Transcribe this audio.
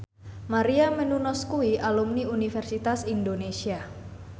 Maria Menounos kuwi alumni Universitas Indonesia